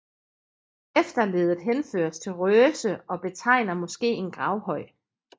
Efterleddet henføres til røse og betegner måske en gravhøj